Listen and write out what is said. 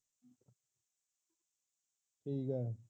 ਠੀਕ ਆਂ